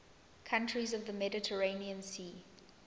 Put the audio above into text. countries of the mediterranean sea